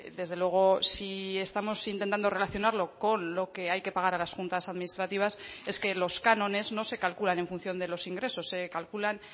desde luego sí estamos intentando relacionarlo con lo que hay que pagar a las juntas administrativas es que los cánones no se calculan en función de los ingresos se calculan